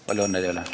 Palju õnne teile!